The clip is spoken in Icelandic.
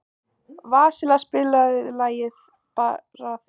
Vasilia, spilaðu lagið „Þig bara þig“.